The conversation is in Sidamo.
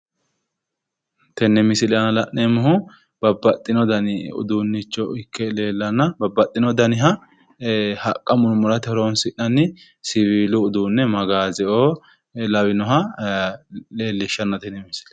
Tene misile aana la'neemmohu haqquni loonsanni mini uduunenna ,haqqa murimure seesisate horonsi'neemmoti qarame magaseti tini luphi yte leellittani nooti